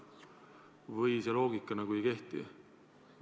Või see loogika nagu ei kehti?